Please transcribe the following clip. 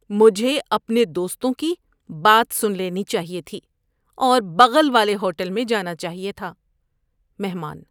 مجھے اپنے دوستوں کی بات سن لینی چاہیے تھی اور بغل والے ہوٹل میں جانا چاہیے تھا۔ (مہمان)